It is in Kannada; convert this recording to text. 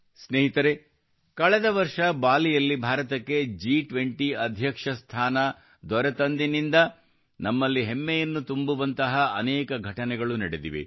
ಸ್ನೇಹಿತರೇ ಕಳೆದ ವರ್ಷ ಬಾಲಿಯಲ್ಲಿ ಭಾರತಕ್ಕೆ G20 ರ ಅಧ್ಯಕ್ಷ ಸ್ಥಾನ ದೊರಕಿದಂದಿನಿಂದ ನಮ್ಮಲ್ಲಿ ಹೆಮ್ಮೆಯನ್ನು ತುಂಬುವಂತಹ ಅನೇಕ ಘಟನೆಗಳು ನಡೆದಿವೆ